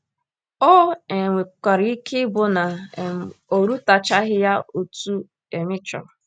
O um nwekwara ike ịbụ na um ọ rụtachaghị ya otú ị um chọrọ.